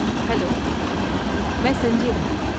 Hello, میں سنجے ہوں۔